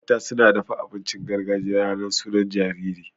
Mata suna dafa abincin gargajiya ranar sunan jariri.